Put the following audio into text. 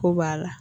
Ko b'a la